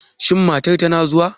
Shin matar tana zuwa?